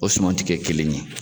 O suman ti kɛ kelen ye.